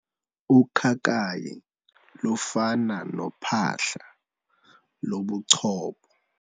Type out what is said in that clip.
Ukhakayi lufana nophahla lobuchopho.